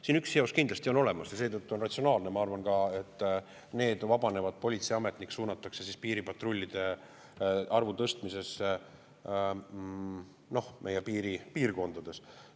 Siin üks seos kindlasti on olemas ja seetõttu on ratsionaalne, ma arvan, et need vabanevad politseiametnikud suunatakse piiripatrullide arvu meie piiripiirkondades.